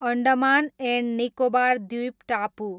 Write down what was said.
Andaman and Nicobar द्वीपटापु